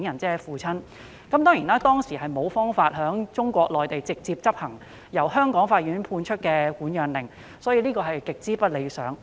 當時有關當局無法在中國內地直接執行由香港法院判出的管養令，所以情況極不理想。